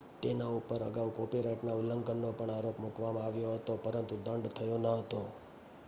તેના પર અગાઉ કોપીરાઇટના ઉલ્લંઘનનો પણ આરોપ મૂકવામાં આવ્યો હતો પરંતુ દંડ થયો ન હતો